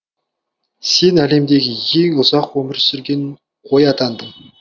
сен әлемдегі ең ұзақ өмір сүрген қой атандың